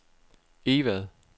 Egvad